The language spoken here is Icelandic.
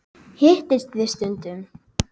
Hittist þið stundum?